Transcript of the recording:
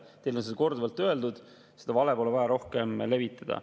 Teile on seda korduvalt öeldud, seda valet pole vaja rohkem levitada.